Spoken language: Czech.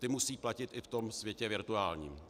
Ta musí platit i v tom světě virtuálním.